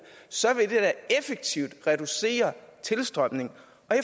så vil det da effektivt reducere tilstrømningen